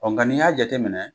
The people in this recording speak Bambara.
Ɔ nka n'i y'a jate minɛ